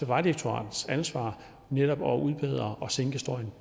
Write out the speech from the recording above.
vejdirektoratets ansvar netop at udbedre og sænke støjen